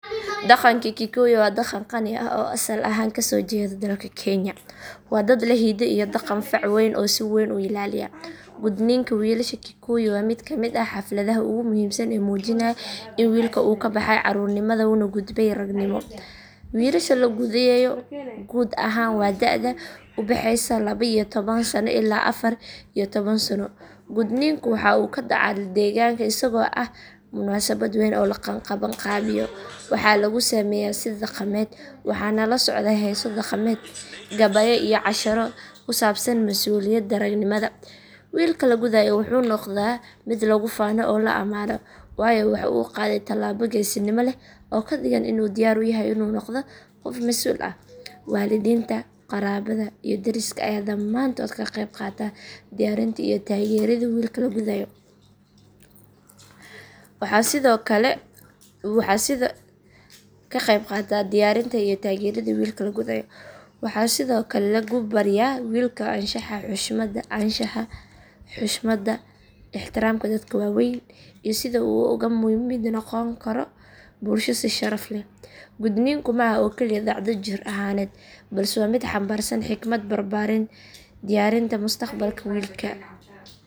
Dhaqanka Kikuyu waa dhaqan qani ah oo asal ahaan ka soo jeeda dalka Kenya. Waa dad leh hiddo iyo dhaqan fac weyn oo si weyn u ilaaliya. Gudniinka wiilasha Kikuyu waa mid ka mid ah xafladaha ugu muhiimsan ee muujinaya in wiilka uu ka baxay caruurnimada una gudbay ragannimo. Wiilasha la gudayo guud ahaan waa da'da u dhaxaysa laba iyo toban sano ilaa afar iyo toban sano. Gudniinku waxa uu ka dhaca deegaanka isagoo ah munaasabad wayn oo la qabanqaabiyo. Waxaa lagu sameeyaa si dhaqameed, waxaana la socda heeso dhaqameed, gabayo iyo casharo ku saabsan mas’uuliyadda ragannimada. Wiilka la gudayo wuxuu noqdaa mid lagu faano oo la ammaano, waayo waxa uu qaaday tallaabo geesinimo leh oo ka dhigan in uu diyaar u yahay inuu noqdo qof masuul ah. Waalidiinta, qaraabada iyo deriska ayaa dhammaantood ka qeyb qaata diyaarinta iyo taageeridda wiilka la gudayo. Waxaa sidoo kale lagu barayaa wiilka anshaxa, xushmadda, ixtiraamka dadka waaweyn iyo sida uu uga mid noqon karo bulshada si sharaf leh. Gudniinku ma aha oo keliya dhacdo jir ahaaneed balse waa mid xambaarsan xikmad, barbaarin iyo diyaarinta mustaqbalka wiilka.